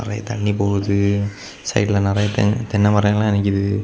நிறைய தண்ணி போகுது சைடுல நிறைய தென் தென்னை மரோ எல்லா நிக்குது.